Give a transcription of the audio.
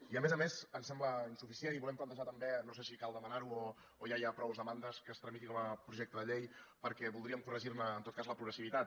i a més a més ens sembla insuficient i volem plantejar també no sé si cal demanar ho o ja hi ha prou demandes que es tramiti com a projecte de llei perquè voldríem corregir ne en tot cas la progressivitat